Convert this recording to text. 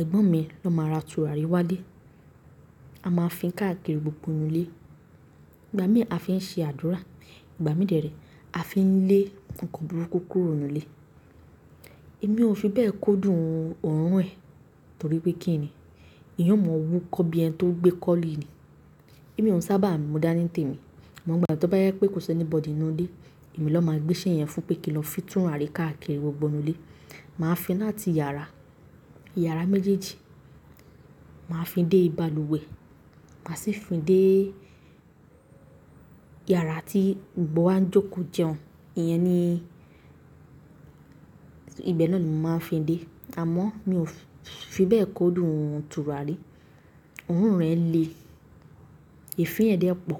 ẹ̀gbọ́n mi ló máa ra tùràrí wálé. A máa ń fín káàkiri gbogbo nù lé. Ìgbà mí a fi ń ṣe àdúrà, ìgbà mí dẹ̀rẹ̀ a fi ń lé nǹkan burúkú kúrò nù ilé. Èmi ò fi bẹ́ẹ̀ kó dùn òórùn ẹ̀, torí pé kí ni? Íyan ó mọ wú kọ́ bí ẹni tó gbé kọ́li ni. Èmi ò sábà mu dá nítèmi, àmọ́ ìgbà tó bá jẹ pé kò sí anybody nù ilé, èmi ló máa gbé iṣẹ́ yẹn fún pé kí n lọ fín tùràrí káàkiri gbogbo nù lé. Màá fín láti yàrá, yàrá méjèèjì, màá fín dé ibalùwẹ̀, màá sì ń fín dée. Yàrá tí gbogbo wàá ń jókòó jẹun. Ìyẹn ni, ibẹ̀ náà ni mò ń máa ń fín dé. Àmọ́ mi ò fi bẹ́ẹ̀ kó dùn tùràrí. Òórùn rẹ̀ le, ìfín ẹ̀ dẹ́ pọ̀.